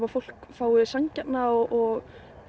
fólk fái sanngjarna og